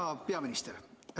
Hea peaminister!